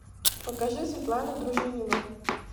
покажи светлану дружинину